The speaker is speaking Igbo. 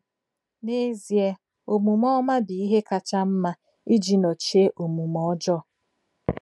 N’ezie, omume ọma bụ ihe kacha mma iji nọchie omume ọjọọ.